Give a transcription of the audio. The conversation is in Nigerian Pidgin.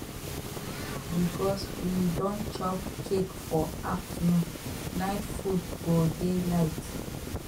because we don chop cake for afternoon night food go dey light